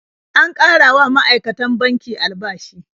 An ƙara wa ma'aikatan banki albashi.